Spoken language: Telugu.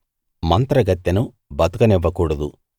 మంత్రగత్తెను బతకనివ్వకూడదు